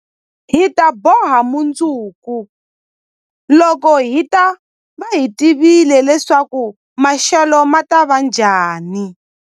Hi ta boha mundzuku, loko hi ta va hi tivile leswaku maxelo ma ta va njhani.